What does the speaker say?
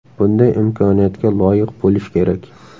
Bunday imkoniyatga loyiq bo‘lish kerak.